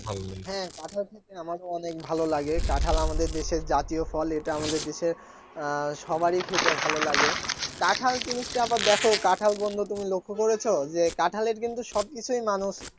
হ্যাঁ কাঁঠাল খেতে আমারও অনেক ভালো লাগে কাঁঠাল আমাদের দেশের জাতীয় ফল এটা আমাদের দেশের আহ সবারই খেতে ভালো লাগে কাঁঠাল জিনিসটা আবার দেখো কাঁঠাল বন্ধু তুমি লক্ষ্য করেছো কাঁঠালের কিন্তু সবকিছুই মানুষ